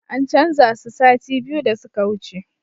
An canza su sati biyu da suka wuce